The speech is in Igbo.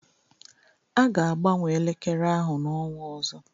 A ga-agbanwe elekere ahụ n'ọnwa ọzọ.